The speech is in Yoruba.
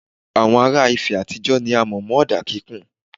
Awon ara ìfẹ́ àtijó ni a mọ̀ mọ́ ọ̀dà kíkùn.